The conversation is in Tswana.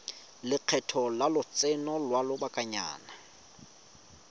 lekgetho la lotseno lwa lobakanyana